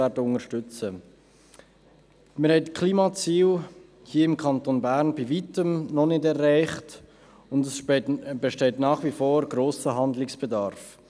Wir haben die Klimaziele hier im Kanton Bern bei Weitem noch nicht erreicht, und es besteht nach wie vor grosser Handlungsbedarf.